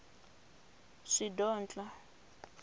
shidondho